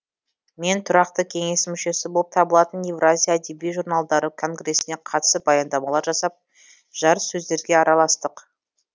мен тұрақты кеңесінің мүшесі болып табылатын евразия әдеби журналдары конгресіне қатысып баяндамалар жасап жарыссөздерге араластық